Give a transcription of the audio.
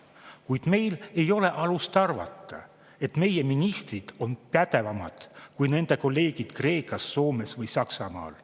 Kuid meil ei ole alust arvata, et meie ministrid on pädevamad kui nende kolleegid Kreekas, Soomes või Saksamaal.